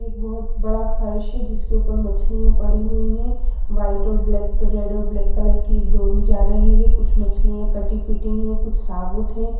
एक बहोत बड़ा फर्श है जिसके ऊपर मछली पड़ी हुई है वाइट और ब्लैक रेड और ब्लैक कलर की एक डोरी जा रही है कुछ मछलिया कटी पिटी है कुछ साबूत है।